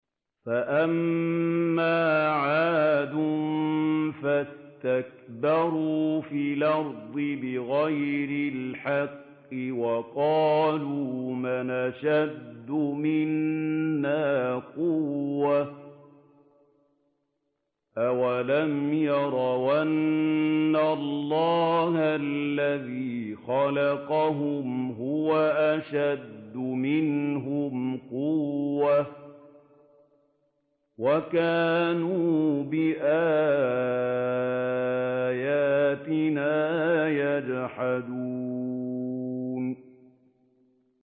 فَأَمَّا عَادٌ فَاسْتَكْبَرُوا فِي الْأَرْضِ بِغَيْرِ الْحَقِّ وَقَالُوا مَنْ أَشَدُّ مِنَّا قُوَّةً ۖ أَوَلَمْ يَرَوْا أَنَّ اللَّهَ الَّذِي خَلَقَهُمْ هُوَ أَشَدُّ مِنْهُمْ قُوَّةً ۖ وَكَانُوا بِآيَاتِنَا يَجْحَدُونَ